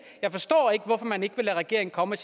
hvorfor man ikke vil lade regeringen komme